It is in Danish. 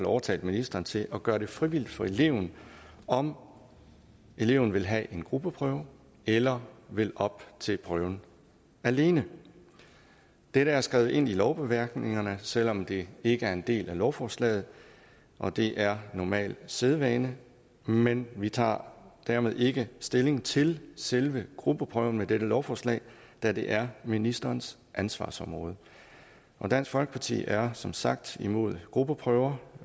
overtalt ministeren til at gøre det frivilligt for eleven om eleven vil have en gruppeprøve eller vil op til prøven alene dette er skrevet ind i lovbemærkningerne selv om det ikke er en del af lovforslaget og det er normal sædvane men vi tager dermed ikke stilling til selve gruppeprøven i dette lovforslag da det er ministerens ansvarsområde dansk folkeparti er som sagt imod gruppeprøver